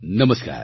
નમસ્કાર